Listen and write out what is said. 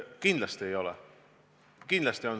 Kahtlemata ei ole.